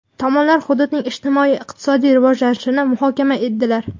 Tomonlar hududning ijtimoiy-iqtisodiy rivojlanishini muhokama etdilar.